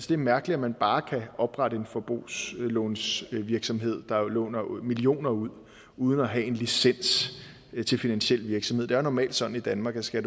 det er mærkeligt at man bare kan oprette en forbrugslånsvirksomhed der jo låner millioner ud uden at have en licens til finansiel virksomhed det er jo normalt sådan i danmark at skal